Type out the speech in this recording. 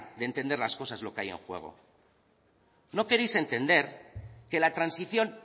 de entender las cosas lo que hay en juego no queréis entender que la transición